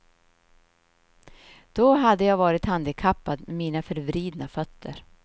Då hade jag varit handikappad med mina förvridna fötter.